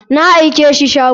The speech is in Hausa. Na aikashi shago.